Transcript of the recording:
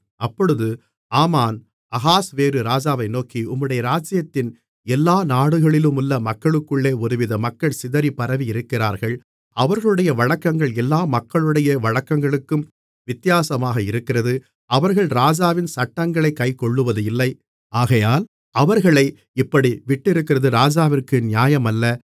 அப்பொழுது ஆமான் அகாஸ்வேரு ராஜாவை நோக்கி உம்முடைய ராஜ்ஜியத்தின் எல்லா நாடுகளிலுமுள்ள மக்களுக்குள்ளே ஒருவித மக்கள் சிதறி பரவியிருக்கிறார்கள் அவர்களுடைய வழக்கங்கள் எல்லா மக்களுடைய வழக்கங்களுக்கும் வித்தியாசமாக இருக்கிறது அவர்கள் ராஜாவின் சட்டங்களைக் கைக்கொள்ளுவதில்லை ஆகையால் அவர்களை இப்படி விட்டிருக்கிறது ராஜாவிற்கு நியாயமல்ல